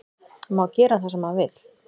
Má gera það sem hann vill